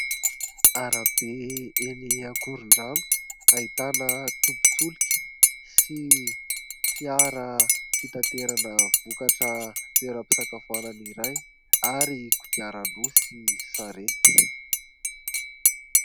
Arabe eny ankorin-drano ahitana tobin-tsolika sy fiara fitanterana vokatra toera-pisakafoanana iray ary kodiaran-droa sy sarety.